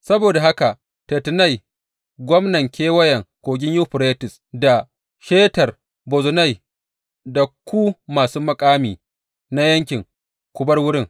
Saboda haka Tattenai, gwamnan Kewayen Kogin Yuferites, da Shetar Bozenai, da ku masu muƙami na yankin, ku bar wurin.